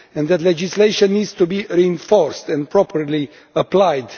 that legislation needs to be reinforced and properly applied